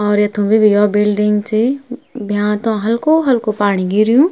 और यथुं भि भि योक बिल्डिंग च भ्यां तों हल्को हल्को पाणी गिर्युं।